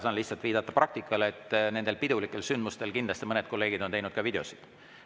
Saan lihtsalt viidata praktikale, et pidulikel sündmustel kindlasti mõned kolleegid on teinud ka videoid.